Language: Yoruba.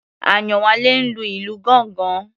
Àyánwálé ń lu ìlù gángan.